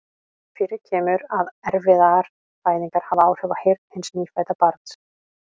Fyrir kemur að erfiðar fæðingar hafa áhrif á heyrn hins nýfædda barns.